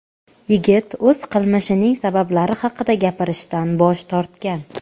Yigit o‘z qilmishining sabablari haqida gapirishdan bosh tortgan.